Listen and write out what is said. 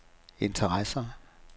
interesser